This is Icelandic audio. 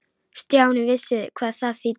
Stjáni vissi hvað það þýddi.